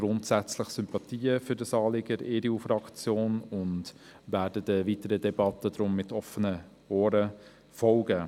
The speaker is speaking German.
Grundsätzlich hegen wir von der EDU-Fraktion Sympathie für das Anliegen und werden der weiteren Debatte mit offenen Ohren folgen.